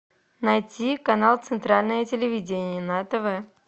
найти канал центральное телевидение на тв